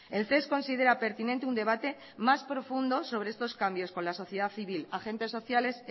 el ces considera pertinente un debate más profundo sobre estos cambios con la sociedad civil agentes sociales